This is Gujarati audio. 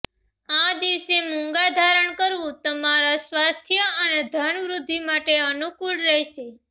આ દિવસે મૂંગા ધારણ કરવું તમારા સ્વાસ્થય અને ધન વૃદ્ધિ માટે અનૂકૂળ રહેશે